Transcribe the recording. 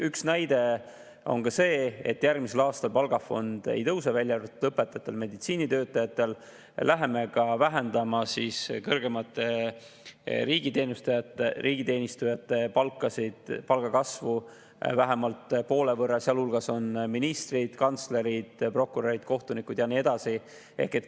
Üks näide on see, et järgmisel aastal palgafond ei suurene, välja arvatud õpetajatel ja meditsiinitöötajatel, ning vähendame ka kõrgemate riigiteenijate palga kasvu vähemalt poole võrra, sealhulgas on ministrid, kantslerid, prokurörid, kohtunikud ja nii edasi.